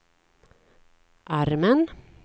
armen